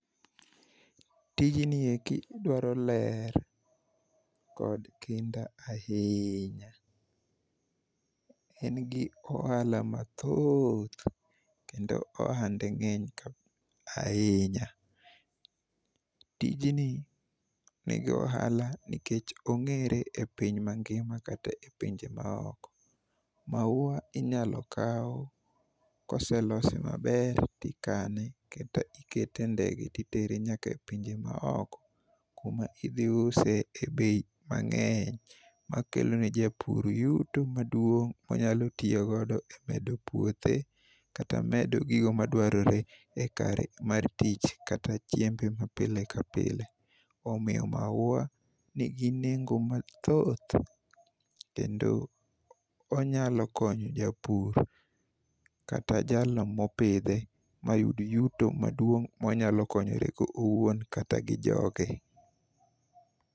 Tijni eki dwaro ler kod kinda ahiinya. En gi ohala mathoth kendo ohande ng'eny ahinya. Tijni nigi ohala nikech ong'ere e piny mangima kata e pinje maoko. Maua inyalo kaw koselose maber tikane kata ikete e ndege titere nyaka e pinje maoko kuma idhiuse e bei mang'eny makelo ne japur yuto maduong' monyalo tiyogodo e medo puothe kata gigo madwarore e kare mar tich kata chiembe mapile ka pile. Omiyo maua nigi nengo mathoth kendo onyalo konyo japur kata jalno mopidhe mayud yuto maduong' monyalo konyorego owuon kata gi joge.